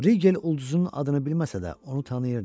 Rigel ulduzunun adını bilməsə də, onu tanıyırdı.